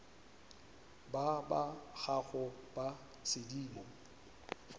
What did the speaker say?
ba ba gago ba sedimo